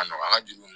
A nɔgɔya an ka juru